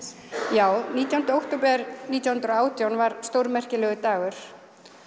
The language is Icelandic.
já nítjánda október nítján hundruð og átján var stórmerkilegur dagur